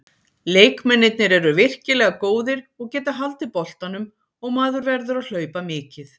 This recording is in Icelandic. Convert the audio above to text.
Leikmennirnir eru virkilega góðir og geta haldið boltanum, og maður verður að hlaupa mikið.